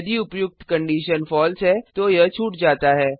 यदि उपर्युक्त कंडिशन फलसे है तो यह छूट जाता है